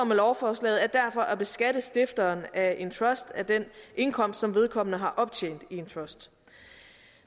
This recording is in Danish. med lovforslaget er derfor at beskatte stifteren af en trust af den indkomst som vedkommende har optjent i en trust